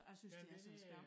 Ja det det er